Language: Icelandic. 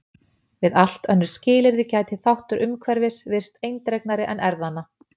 Við allt önnur skilyrði gæti þáttur umhverfis virst eindregnari en erfðanna.